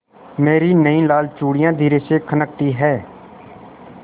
मेरी नयी लाल चूड़ियाँ धीरे से खनकती हैं